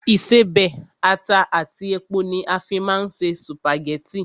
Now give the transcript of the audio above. Ìṣebẹ̀, ata àti epo ni a fín máa ń se sùpàgẹ́tì